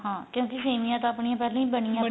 ਹਾਂ ਕਿਉਂਕਿ ਸੇਮੀਆਂ ਤਾਂ ਆਪਣੀਆਂ ਪਹਿਲਾਂ ਹੀ ਬਣੀਆਂ